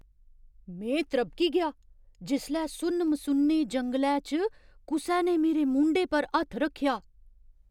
में त्रभकी गेआ जिसलै सुन्न मसुन्ने जंगलै च कुसै ने मेरे मूंढे पर हत्थ रक्खेआ।